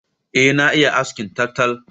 Eh na iya askin taltal